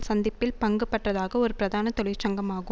சந்திப்பில் பங்குபற்றதாக ஒரு பிரதான தொழிற்சங்கமாகு